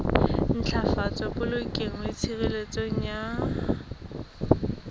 ntlafatsa polokeho le tshireletso ya